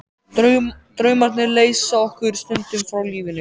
Draumarnir leysa okkur stundum frá lífinu.